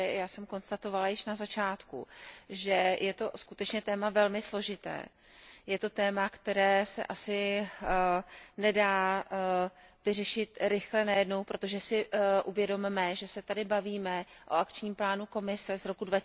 Já jsem konstatovala již na začátku, že je to skutečně téma velmi složité, je to téma, které se asi nedá vyřešit rychle najednou, protože si uvědomme, že se tady bavíme o akčním plánu Komise z roku